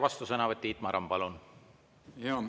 Vastusõnavõtt, Tiit Maran, palun!